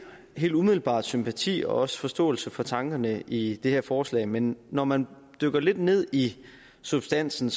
helt umiddelbart sympati også forståelse for tankerne i det her forslag men når man dykker lidt ned i substansen